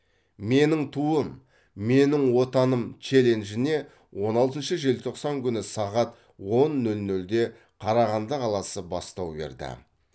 менің туым менің отаным челленджіне он алтыншы желтоқсан күні сағат он нөл нөлде қарағанды қаласы бастау берді